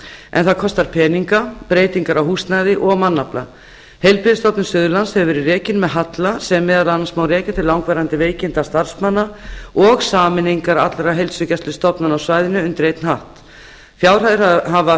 en það kostar peninga breytingar á húsnæði og mannafla heilbrigðisstofnun suðurlands hefur verið rekin með halla sem meðal annars má rekja til langvarandi veikinda starfsmanna og sameiningar allra heilsugæslustofnana á svæðinu undir einn hatt fjárhæðir hafa